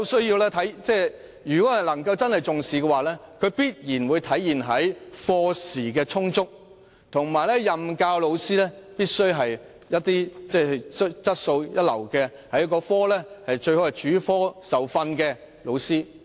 如果當局真正重視中史科，定會規定課時必須充足，任教老師須具備高質素，最好是主科受訓的老師。